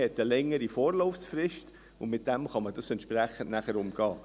Man hat eine längere Vorlauffrist, und damit kann man das nachher entsprechend umgehen.